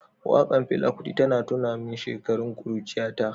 Wakar Fela kuti ta tuna min shekarun kuruciyata.